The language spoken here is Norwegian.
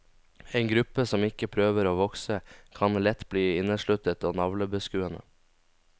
En gruppe som ikke prøver å vokse, kan lett bli innesluttet og navlebeskuende.